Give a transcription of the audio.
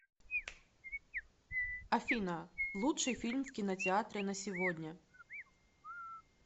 афина лучший фильм в кинотеатре на сегодня